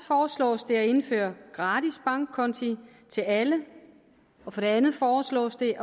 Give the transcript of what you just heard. foreslås det at indføre gratis bankkonti til alle og for det andet foreslås det